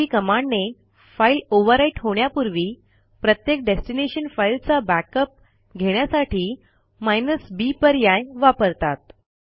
MV कमांडने file overwrite होण्यापूर्वी प्रत्येक डेस्टिनेशन फाईलचा बॅकअप घेण्यासाठी b पर्याय वापरतात